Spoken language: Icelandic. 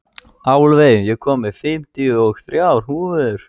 Álfey, ég kom með fimmtíu og þrjár húfur!